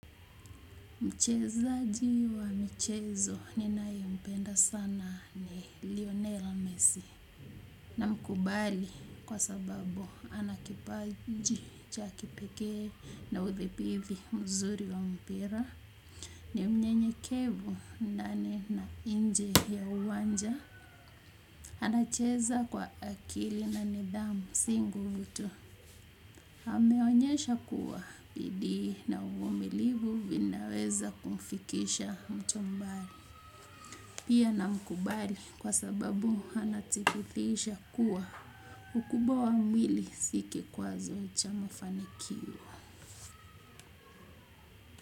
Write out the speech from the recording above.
Mchezaji wa michezo ninayempenda sana ni Lionel Messi. Namkubali kwa sababu ana kipaji cha kipekee na udhibiti mzuri wa mpira. Ni mnyenyekevu ndani na nje ya uwanja. Anacheza kwa akili na nidhamu si nguvu tu. Ameonyesha kuwa bidii na uvumilivu vinaweza kumfikisha mtu mbali. Pia namkubali kwa sababu anathibitisha kuwa ukubwa wa mwili si kikwazo cha mafanikio.